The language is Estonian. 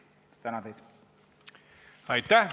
Aitäh!